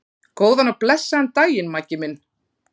Góðan og blessaðan daginn, Maggi minn.